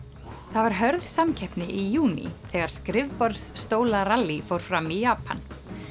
það var hörð samkeppni í júní þegar fór fram í Japan